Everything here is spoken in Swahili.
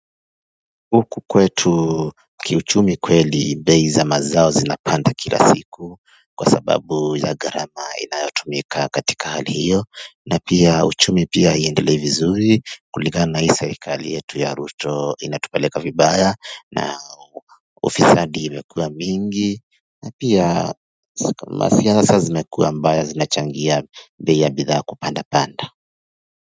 Huku kwetu kiuchumi kweli bei za mazao zinapanda kila siku kwa sababu ya garama inayotumika katika hali hiyo na pia uchumi pia aiendelei vizuri kulingana na hii serikali yetu ya ruto inatupeleka vibaya na ufisadi imekuwa mingi na pia masiasa zimekuwa mbaya zinachangia bei ya bidhaa kupanda panda.